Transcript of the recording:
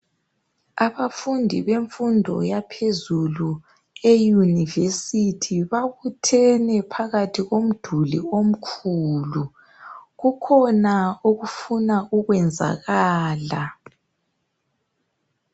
Abafundi bemfundo yaphezulu eyunivesithi babuthene phakathi komduli omkhulu. Kukhona okufuna ukwenzakala.